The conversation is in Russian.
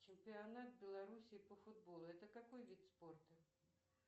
чемпионат белоруссии по футболу это какой вид спорта